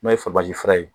N'o ye fabali fara ye